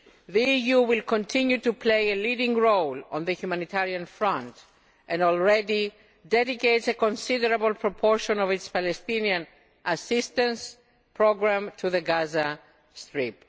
The EU will continue to play a leading role on the humanitarian front and already dedicates a considerable proportion of its Palestinian assistance programme to the Gaza Strip.